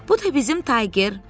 “Bu da bizim Tayger.”